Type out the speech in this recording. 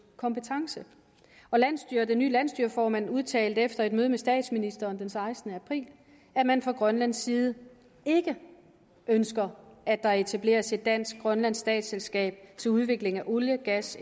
kompetence den nye landsstyreformand udtalte efter et møde med statsministeren den sekstende april at man fra grønlands side ikke ønsker at der etableres et dansk grønlandsk statsselskab til udviklingen af olie gas